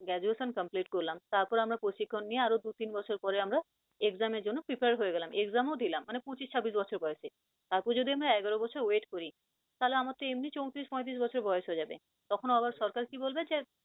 graduation complete করলাম, তারপর আমরা প্রশিক্ষন নিয়ে আরও দু তিন বছর পরে আমরা exam এর জন্য prepare হয়ে গেলাম, exam ও দিলাম, মানে পচিশ ছাব্বিশ বছর বয়সে, তারপর যদি আমরা এগারো বছর wait করি তাহলে আমার তো এমনি চৌত্রিশ পঁয়ত্রিশ বছর বয়স হয়ে যাবে, তখন আবার সরকার কি বলবে যে